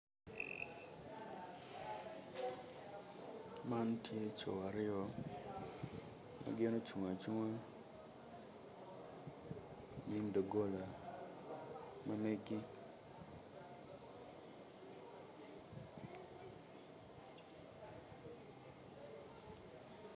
Man tye co aryo ma gin ocung acunga inyim doggola ma meggi